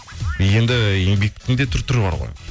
енді еңбектің де түр түрі бар ғой